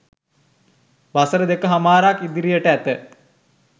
වසර දෙක හමාරක් ඉදිරියට ඇත.